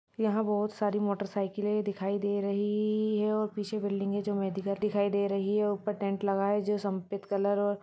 याह बोहोत सारी मोटोरसायकले दिखाई दे राही है इ ए है पिछे बिल्डींगे जो मेडिकल दिखाई दे राही है उपर टेन्ट संपित कलर है और--